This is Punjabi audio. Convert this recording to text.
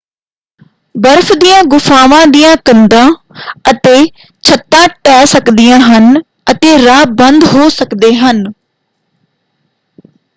ਬਰਫ਼ ਦੀਆਂ ਗੁਫ਼ਾਵਾਂ ਦੀਆਂ ਕੰਧਾਂ ਅਤੇ ਛੱਤਾਂ ਢਹਿ ਸਕਦੀਆਂ ਹਨ ਅਤੇ ਰਾਹ ਬੰਦ ਹੋ ਸਕਦੇ ਹਨ।